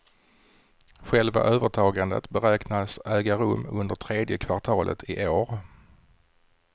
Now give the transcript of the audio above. Själva övertagandet beräknas äga rum under tredje kvartalet i år.